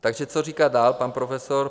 Takže co říká dál pan profesor?